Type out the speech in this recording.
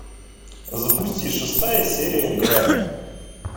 запусти шестая серия грань